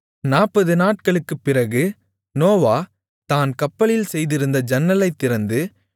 40 நாட்களுக்குப் பிறகு நோவா தான் கப்பலில் செய்திருந்த ஜன்னலைத் திறந்து